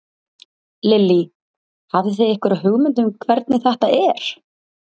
Lillý: Hafið þið einhverja hugmynd um hvernig þetta er?